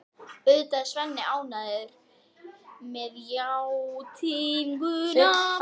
Auðvitað er Svenni ánægður með játninguna.